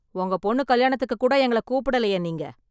உங்க பொண்ணு கல்யாணத்துக்கு கூட எங்கள கூப்பிடலையே நீங்க!